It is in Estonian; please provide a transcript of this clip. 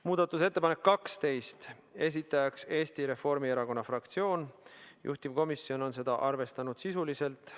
Muudatusettepanek nr 12, esitajaks on Eesti Reformierakonna fraktsioon, juhtivkomisjon on arvestanud seda sisuliselt .